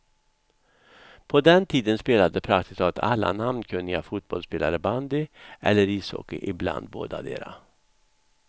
På den tiden spelade praktiskt taget alla namnkunniga fotbollsspelare bandy eller ishockey, ibland bådadera.